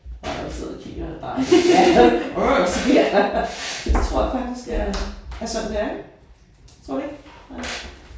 Jeg sidder og kigger på dig ja. Så tror jeg faktisk jeg er er sådan færdig. Tror du ikke?